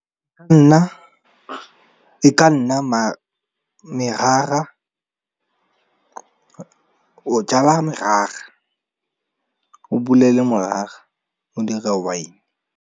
E ka nna merara. O jala merara, o bulele morara o dire wine.